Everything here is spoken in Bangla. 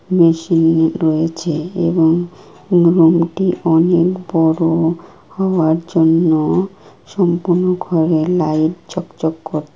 মেশিন রয়েছে এবং রুম -টি অনেক বড়ো হওয়ার জন্য সম্পূর্ণ ঘরের লাইট চকচক কর --